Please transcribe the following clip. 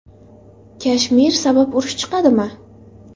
Kashmir sabab urush chiqadimi?